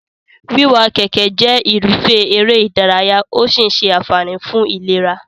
Wíwa kẹ̀kẹ́ jẹ́ irúfẹ́ eré-ìdárayá¸ ó sì ń ṣe àǹfààní fún ìlera.